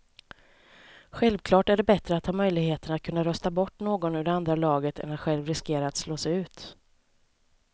Självklart är det bättre att ha möjligheten att kunna rösta bort någon ur det andra laget än att själv riskera att slås ut.